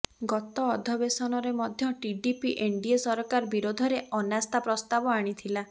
ଗତ ଅଧବେଶନରେ ମଧ୍ୟ ଟିଡିପି ଏନଡିଏ ସରକାର ବିରୋଧରେ ଅନାସ୍ଥା ପ୍ରସ୍ତାବ ଆଣିଥିଲା